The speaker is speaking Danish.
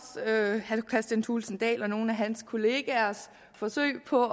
herre kristian thulesen dahl og nogle hans kollegaers forsøg på